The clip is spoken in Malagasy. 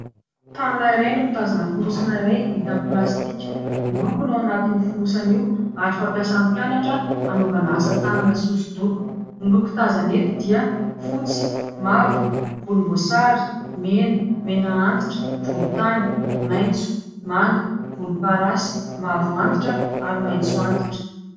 Tanana iray no mitazona fonosana iray vita avy amin' ny plastika. Loko no ao anatin' io finosana io, ary fampiasan'ny mpianatra hanaovana asa tanana sy hosodoko. Ny loko tazana eto dia fotsy, mavo, volom-boasary, mena, mena antitra, volontany, maitso, manga, volom-parasy, mavo antitra ary maitso antitra.